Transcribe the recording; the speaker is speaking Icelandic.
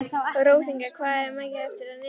Rósinkransa, hvað er mikið eftir af niðurteljaranum?